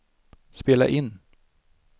spela in